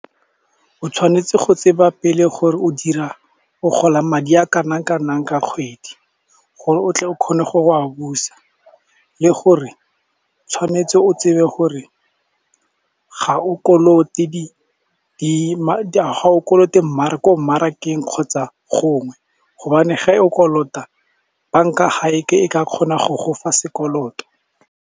O tshwanetse go tseba pele gore o gola madi a kana-kanang ka kgwedi, gore o tle o kgone go a busa. Le gore tshwanetse o tsebe gore ga o kolote ko mmarakeng kgotsa gongwe, gobane ga o kolota bank-a ga e ke e ka kgona go gofa sekoloto.